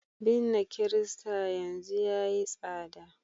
binne kirista yanzu yayi tsada